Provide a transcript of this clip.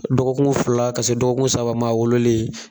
Dɔgɔkun fila ka se dɔgɔkun saba maa a wololen